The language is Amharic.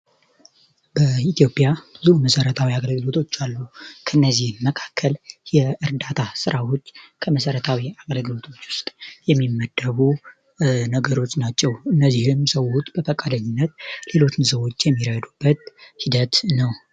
በኢትዮጵያ ብዙ መሰረታዊ አገለግሎቶች አሉ። ከእነዚህ መካከል የእርዳታ ሥራዎች ከመሰረታዊ አገለግሎቶች ውስጥ የሚመደቡ ነገሮች ናቸው። እነዚህም ሰዎች በፈቃደኝነት ሌሎትን ሰዎች የሚረዱበት ሂደት ነው።